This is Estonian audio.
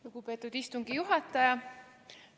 Lugupeetud istungi juhataja!